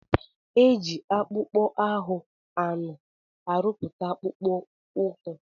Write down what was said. E ji akpụkpọ ahụ anụ arụpụta akpụkpọ ụkwụ.